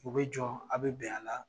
U bɛ jɔn a be bɛn a la